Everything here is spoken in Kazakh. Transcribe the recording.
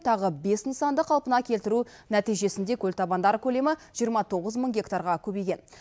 тағы бес нысанды қалпына келтіру нәтижесінде көлтабандар көлемі жиырма тоғыз мың гектарға көбейген